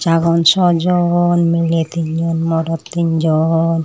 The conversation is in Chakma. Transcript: agon saw jon mileh tinno morot tinjon.